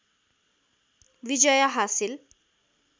विजय हासिल